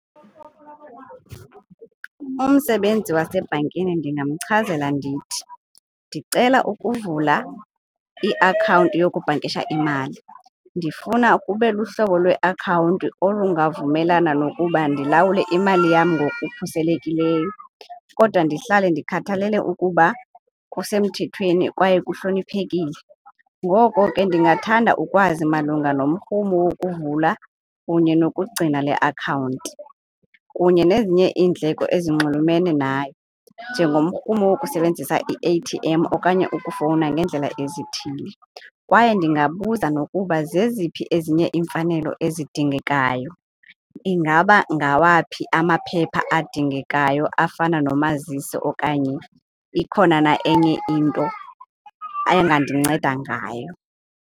Umsebenzi wasebhankini ndingamchazela ndithi, ndicela ukuvula iakhawunti yokubhankisha imali. Ndifuna kube luhlobo lweakhawunti olungavumelana nokuba ndilawule imali yam ngokukhuselekileyo kodwa ndihlale ndikhathalele ukuba kusemthethweni kwaye kuhloniphekile. Ngoko ke ndingathanda ukwazi malunga nomrhumo wokuvula kunye nokugcina le akhawunti kunye nezinye iindleko ezinxulumene nayo njengomrhumo wokusebenzisa i-A_T_ M okanye ukufowuna ngeendlela ezithile. Kwaye ndingabuza nokuba zeziphi ezinye iimfanelo ezidingekayo. Ingaba ngawaphi amaphepha adingekayo afana nomazisi okanye ikhona na enye into angandinceda ngayo?